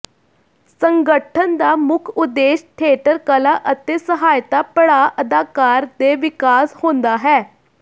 ਸੰਗਠਨ ਦਾ ਮੁੱਖ ਉਦੇਸ਼ ਥੀਏਟਰ ਕਲਾ ਅਤੇ ਸਹਾਇਤਾ ਪੜਾਅ ਅਦਾਕਾਰ ਦੇ ਵਿਕਾਸ ਹੁੰਦਾ ਹੈ